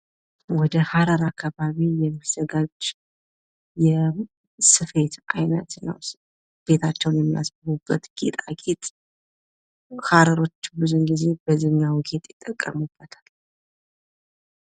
ወደ ሐረር አካባቢ የሚዘጋጅ የስፌት አይነት ነው። ቤታቸውን የሚያስጌጡበት ጌጣጌጥ ሀረሮች ብዙ ጊዜ በዚህኛው ጌጥ ይጠቀሙበታል።